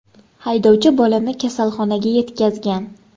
Haydovchi bolani kasalxonaga yetkazgan.